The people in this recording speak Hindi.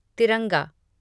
तिरंगा